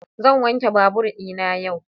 Zan wanke babur dina yau.